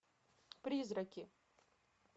призраки